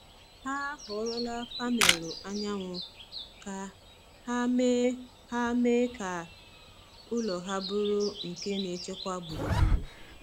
Ha họrọla panelụ anyanwụ ka ha mee ha mee ka ụlọ ha bụrụ nke na-echekwa gburugburu.